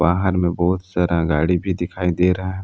बाहर में बहुत सारा गाड़ी भी दिखाई दे रहा--